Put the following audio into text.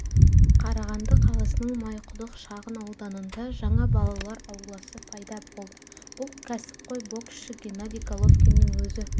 қарағанды қаласының майқұдық шағын ауданында жаңа балалар ауласы пайда болды бұл кәсіпқой боксшы геннадий головкиннің өзі